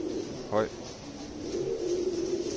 høj